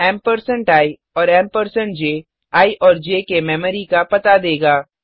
ampersand ampersand I और ampersand ampersand ज I और ज के मेमोरी का पता देगा